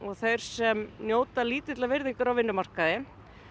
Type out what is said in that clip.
þeir sem njóta lítillar virðingar á vinnumarkaði